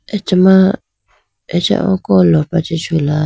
acha ma acha oko lopra chee chula.